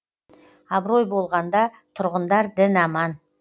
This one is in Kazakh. абырой болғанда тұрғындар дін аман